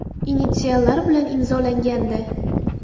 initsiallari bilan imzolangandi.